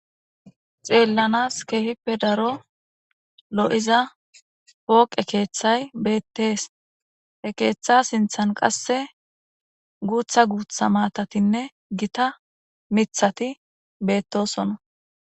Xeellanas keehippe daro lo'iza pooqe keeththay beettees. keeththa sinthan qasse guutha guutha maatatinne gita mithati beettosona.